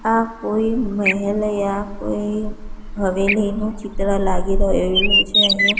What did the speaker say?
આ કોઇ મેહેલ યા કોઇ હવેલીનું ચિત્ર લાગી રહેલુ છે અહીંયા--